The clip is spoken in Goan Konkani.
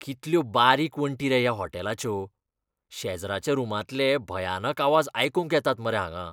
कितल्यो बारीक वण्टी रे ह्या होटॅलाच्यो. शेजराच्या रुमांतले भयानक आवाज आयकूंक येतात मरे हांगां.